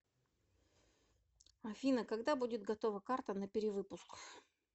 афина когда будет готова карта на перевыпуск